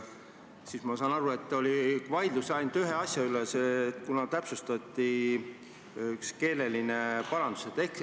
Siis ma saan aru, et oli vaidlus ainult ühe asja üle, kuna täpsustati ühte keelelist parandust.